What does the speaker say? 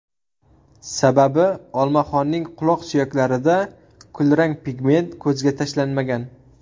Sababi olmaxonning quloq suyaklarida kulrang pigment ko‘zga tashlanmagan.